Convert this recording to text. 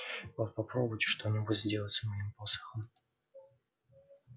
вот попробуйте что-нибудь сделать с моим посохом